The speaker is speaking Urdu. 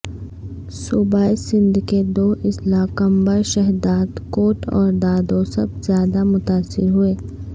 صوبہ سندھ کے دو اضلاع قمبر شہدادکوٹ اور دادو سب زیادہ متاثر ہوئے